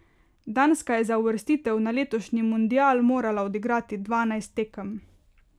Danska je za uvrstitev na letošnji mundial morala odigrati dvanajst tekem.